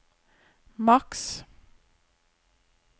maks